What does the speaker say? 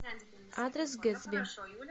адрес гэтсби